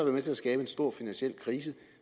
med til at skabe en stor finansiel krise